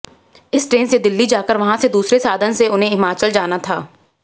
इस ट्रेन से दिल्ली जाकर वहां से दूसरे साधन से उन्हें हिमाचल जाना था